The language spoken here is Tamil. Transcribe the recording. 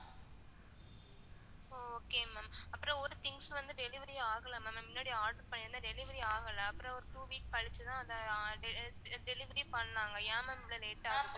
அஹ் okay ma'am அப்பறம் ஒரு things வந்து delivery ஆகல ma'am முன்னாடி order பண்ணிருந்தன் delivery ஆகல அப்பறம் அது two weeks கழிச்சி தான் அது deli delivery பண்ணாங்க ஏன் ma'am இவ்ளோ late ஆகுது